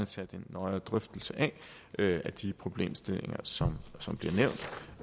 tage den nøjere drøftelse af de problemstillinger som